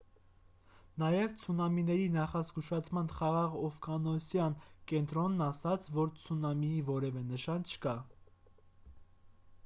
նաև ցունամիների նախազգուշացման խաղաղօվկիանոսյան կենտրոնն ասաց որ ցունամիի որևէ նշան չկա